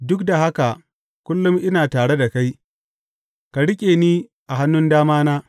Duk da haka kullum ina tare da kai; ka riƙe ni a hannun damana.